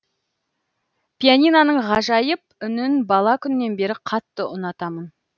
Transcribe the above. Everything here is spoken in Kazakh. пианиноның ғажайып үнін бала күннен бері қатты ұнатамын